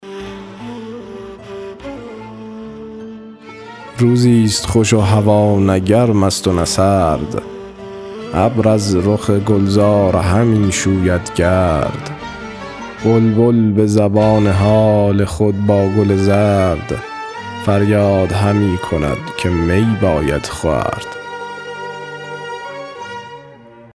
روزی ست خوش و هوا نه گرم است و نه سرد ابر از رخ گلزار همی شوید گرد بلبل به زبان حال خود با گل زرد فریاد همی کند که می باید خورد